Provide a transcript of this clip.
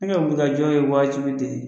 Ne ka wulikajɔ ye waajibi de